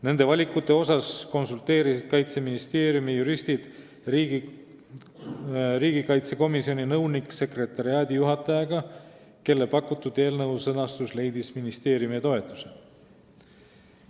Nende valikute suhtes konsulteerisid Kaitseministeeriumi juristid riigikaitsekomisjoni nõunik-sekretariaadijuhatajaga, kelle pakutud eelnõu sõnastus leidis ministeeriumi toetuse.